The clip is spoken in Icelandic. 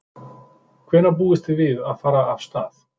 Hvenær búist þið við að fara af stað?